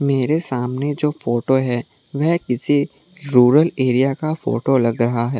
मेरे सामने जो फोटो है वह किसी रूरल एरिया का फोटो लग रहा है।